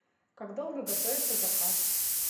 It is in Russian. как долго готовится заказ